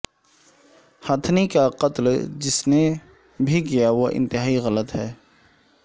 ہتھنی کا قتل جس نے بھیکیا وہ انتہائی غلط ہے